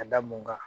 Ka da mun kan